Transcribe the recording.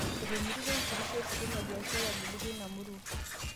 Etomitikio enkitisho ositima biashara ebulu teina murua